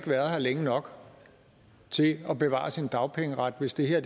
været her længe nok til at bevare sin dagpengeret hvis det her